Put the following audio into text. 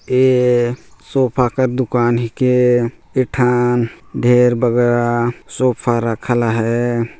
ये एक सोफ़े की दुकान है सोफ़ा के घेर बगरा ए सोफ़ा रखला हैं।